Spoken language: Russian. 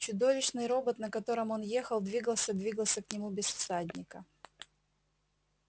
чудовищный робот на котором он ехал двигался двигался к нему без всадника